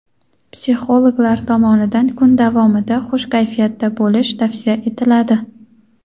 Psixologlar tomonidan kun davomida xush kayfiyatda bo‘lish tavsiya etiladi.